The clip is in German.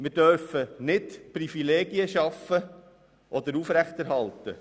Wir dürfen nicht Privilegien erschaffen oder aufrechterhalten.